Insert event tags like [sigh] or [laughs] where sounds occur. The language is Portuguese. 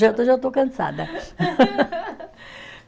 Janta eu já estou cansada. [laughs]